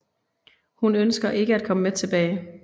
Hun ønsker ikke at komme med tilbage